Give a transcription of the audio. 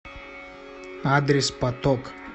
адрес поток